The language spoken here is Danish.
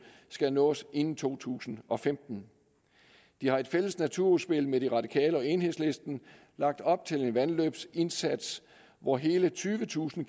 skal nås inden to tusind og femten de har i et fælles naturudspil med de radikale og enhedslisten lagt op til en vandløbsindsats hvor hele tyvetusind